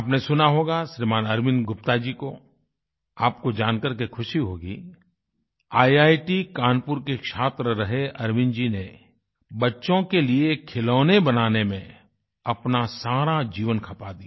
आपने सुना होगा श्रीमान् अरविन्द गुप्ता जी को आपको जान करके ख़ुशी होगी ईआईटी कानपुर के छात्र रहे अरविन्द जी ने बच्चों के लिए खिलौने बनाने में अपना सारा जीवन खपा दिया